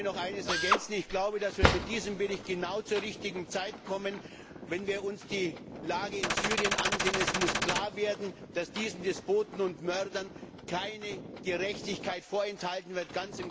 Lassen Sie mich noch eines ergänzen Ich glaube, dass wir mit diesem Bericht genau zur richtigen Zeit kommen, wenn wir uns die Lage in Syrien ansehen. Es muss klar werden, dass diesen Despoten und Mördern keine Gerechtigkeit vorenthalten wird.